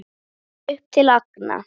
Upp til agna.